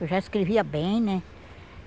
Eu já escrevia bem, né?